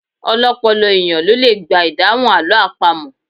Ọlọ́pọlọ èèyàn ló le gba ìdáhùn àlọ́ àpamọ̀